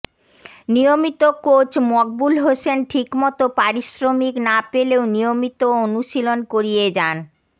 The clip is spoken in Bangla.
নিয়মিত কোচ মকবুল হোসেন ঠিকমতো পারিশ্রমিক না পেলেও নিয়মিত অনুশীলন করিয়ে যান